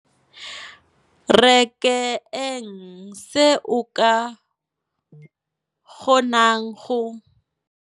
re ke eng se o ka kgonang go